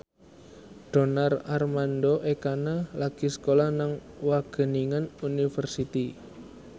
Donar Armando Ekana lagi sekolah nang Wageningen University